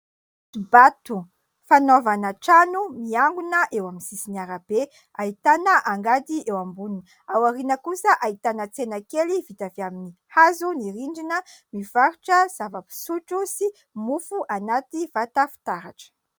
Vato fanaovana trano miangona eo amin'ny sisin'ny arabe ahitana angady eo amboniny. Ao aoriana kosa ahitana tsena kely vita avy amin'ny hazo ny rindrina mivarotra zava-pisotro sy mofo anaty vata fitaratra.